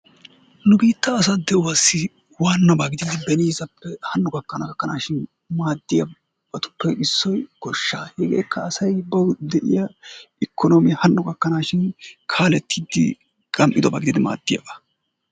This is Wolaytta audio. Nu biitta asaa de"uwaassi waannaba gididi beniisappe hanno gakkana gakkanaashin maaddiyaabatuppe issoy goshshaa. Heegeekka asay bawu de"iya ikonoomiya hanno gakkanaashin kaalettiiddi gam"idoba gididi maaddiyaaba.